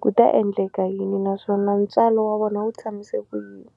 ku ta endleka yini naswona ntswalo wa vona wu tshamise ku yini.